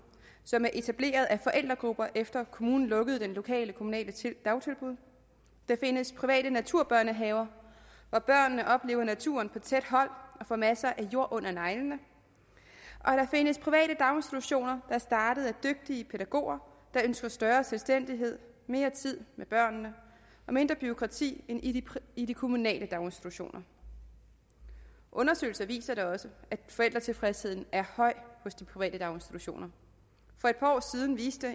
som er etableret af forældregrupper efter at kommunen lukkede det lokale dagtilbud der findes private naturbørnehaver hvor børnene oplever naturen på tæt hold og får masser af jord under neglene og der findes private daginstitutioner der er startet af dygtige pædagoger der ønsker større selvstændighed mere tid med børnene og mindre bureaukrati end i i de kommunale daginstitutioner undersøgelser viser da også at forældretilfredsheden er høj hos de private daginstitutioner for et par år siden viste